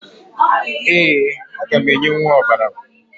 Ee, aga m enyenwu ọbara